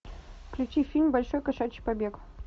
включи фильм большой кошачий побег